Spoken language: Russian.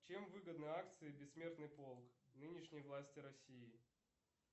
чем выгодны акции бессмертный полк нынешней власти россии